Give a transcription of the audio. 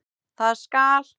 Það skal